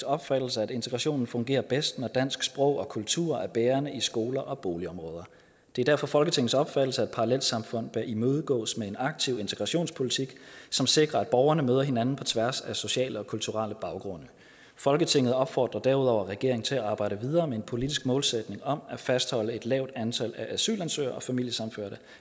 opfattelse at integrationen fungerer bedst når dansk sprog og kultur er bærende i skoler og boligområder det er derfor folketingets opfattelse at parallelsamfund bør imødegås med en aktiv integrationspolitik som sikrer at borgerne møder hinanden på tværs af sociale og kulturelle baggrunde folketinget opfordrer derudover regeringen til at arbejde videre med en politisk målsætning om at fastholde et lavt antal af asylansøgere og familiesammenførte